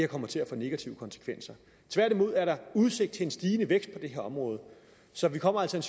kommer til at få negative konsekvenser tværtimod er der udsigt til en stigende vækst på det her område så vi kommer altså